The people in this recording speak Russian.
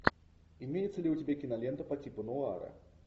имеется ли у тебя кинолента по типу нуара